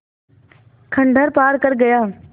खंडहर पार कर गया